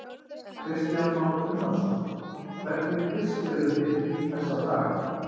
Kristján Már Unnarsson: Hvernig fisk eruð þið í þessa dagana?